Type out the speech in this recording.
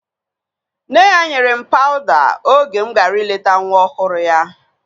Nne ya nyere m pawuda oge mụ gara ileta nwa ọhụrụ ya